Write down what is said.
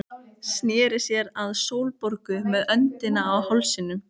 Sneri sér að Sólborgu með öndina í hálsinum.